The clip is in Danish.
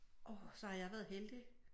Orh så har jeg været heldig